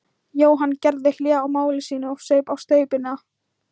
Jóhann gerði hlé á máli sínu og saup á staupinu.